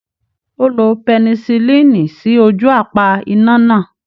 Ó lo pẹnisilínì sí ojú apá iná náà.